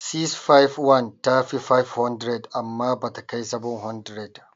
651 ta fi 500 amma bata kai 700.